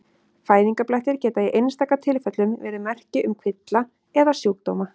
Fæðingarblettir geta í einstaka tilfellum verið merki um kvilla eða sjúkdóma.